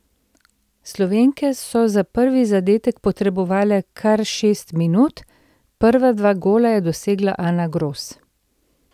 Slovenke so za prvi zadetek potrebovale kar šest minut, prva dva gola je dosegla Ana Gros.